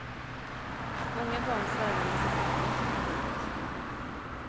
Många barn slarvar med sin frukost. punkt